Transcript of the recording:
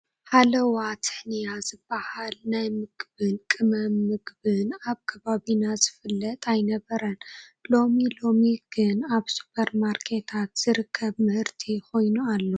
ሃለዋ ትሕንያ ዝበሃል ናይ ምግብን ቅመም ምግብን ኣብ ከባቢና ዝፍለጥ ኣይነበረን፡፡ ሎሚ ሎሚ ግን ኣብ ሱፐር ማርኬታት ዝርከብ ምህርቲ ኮይኑ ኣሎ፡፡